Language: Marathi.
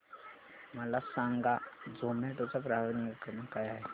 मला सांगा झोमॅटो चा ग्राहक निगा क्रमांक काय आहे